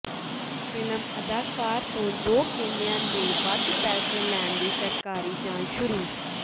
film ਅਦਾਕਾਰ ਤੋਂ ਦੋ ਕੇਲਿਆਂ ਦੇ ਵੱਧ ਪੈਸੇ ਲੈਣ ਦੀ ਸਰਕਾਰੀ ਜਾਂਚ ਸ਼ੁਰੂ